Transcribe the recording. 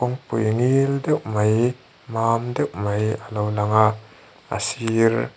ngil deuh mai mam deuh mai alo lang a a sir--